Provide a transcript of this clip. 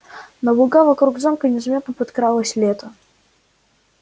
на луга вокруг замка незаметно подкралось лето